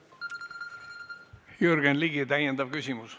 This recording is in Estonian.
Jürgen Ligi, täiendav küsimus.